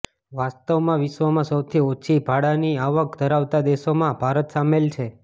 વાસ્તવમાં વિશ્વમાં સૌથી ઓછી ભાડાંની આવક ધરાવતા દેશોમાં ભારત સામેલ છે